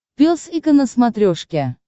пес и ко на смотрешке